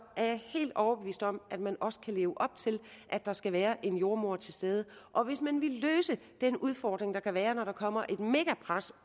er jeg helt overbevist om at man også kan leve op til at der skal være en jordemoder til stede og hvis man vil løse den udfordring der kan være når der kommer et megapres